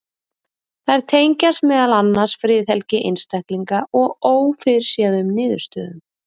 þær tengjast meðal annars friðhelgi einstaklinga og ófyrirséðum niðurstöðum